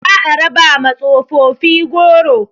Za a raba ma tsofofi goro